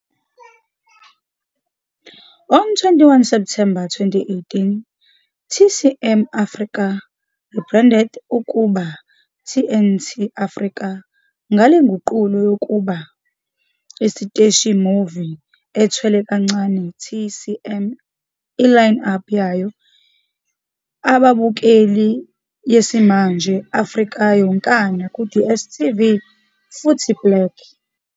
On 21 September 2018, TCM Afrika rebranded ukuba TNT Afrika ngale nguqulo kokuba isiteshi movie ethwele kancane TCM e line-up yayo ababukeli yesimanje Afrika yonkana ku DStv futhi Black.